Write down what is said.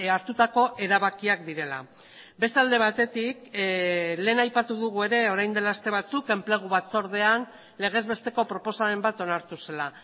hartutako erabakiak direla beste alde batetik lehen aipatu dugu ere orain dela aste batzuk enplegu batzordean legezbesteko proposamen bat onartu zela